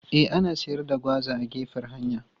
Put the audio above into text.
E, ana siyar da gwaza a gefen hanya.